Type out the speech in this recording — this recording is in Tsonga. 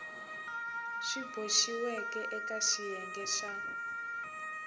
swi boxiweke eka xiyenge xa